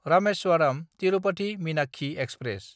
Rameswaram Tirupati Meenakshi express